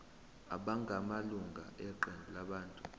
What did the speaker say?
abangamalunga eqembu labantu